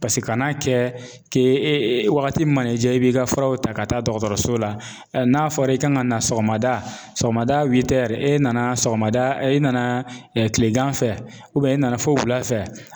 Paseke kana kɛ k'e e waati mana i ja i b'i ka furaw ta ka taa dɔgɔtɔrɔso la. N'a fɔra i kan ka na sɔgɔmada ,sɔgɔmada e nana sɔgɔmada ,i na kileganfɛ e nana fo wula fɛ.